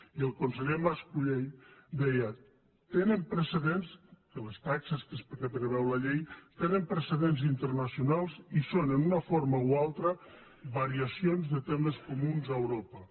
i el conseller mas colell deia tenen precedents de les taxes que preveu la llei internacionals i són en una forma o altra variacions de temes comuns a europa